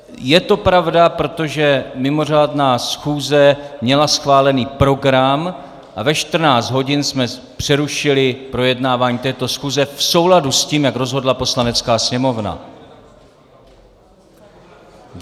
Je to pravda, protože mimořádná schůze měla schválený program a ve 14 hodin jsme přerušili projednávání této schůze v souladu s tím, jak rozhodla Poslanecká sněmovna.